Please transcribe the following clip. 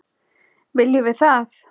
Viljum við það?